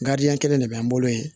kelen de bɛ n bolo yen